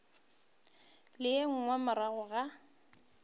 le ye nngwe morago ga